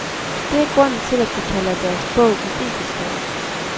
Det er grunden til at de kalder deres bog idehistorie.